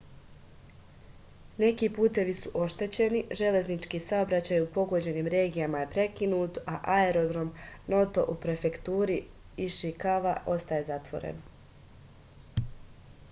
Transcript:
neki putevi su oštećeni železnički saobraćaj u pogođenim regijama je prekinut a aerodrom noto u prefekturi išikava ostaje zatvoren